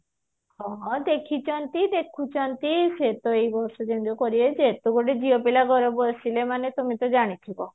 ହଁ ଦେଖିଛନ୍ତି ଦେଖୁଛନ୍ତି ସେ ତ ଏଇ ବର୍ଷ ଯେମିତି କରିବେ ଯେ ଏତେବଡ ଝିଅ ପିଲା ମାନେ ଘରେ ବସିଲେ ମାନେ ତମେ ତ ଜାଣିଥିବ